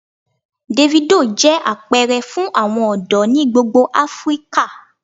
Davido jẹ apẹrẹ fun awọn ọdọ ni gbogbo Afirika.